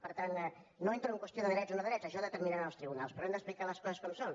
per tant no entro en qüestió de drets o no drets això ho determinaran els tribunals però hem d’explicar les coses com són